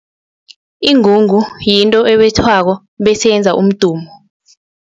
Ingungu yinto ebethwako bese yenza umdumo.